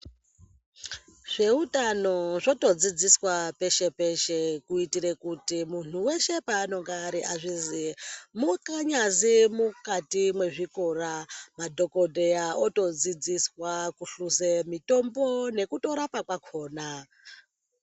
Zveutano zvotodzidziswa peshe-peshe, kuitire kuti muntu veshe paanonga ari azviziye. Mukanyazi mukati mwezvikora madhogodheya otodzidziswa kuhluze mitombo nekutorapa kwakona.